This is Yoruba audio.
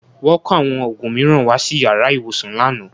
Wọ́n kó àwọn òògùn mìíràn wá sí yàrá ìwòsàn lánàá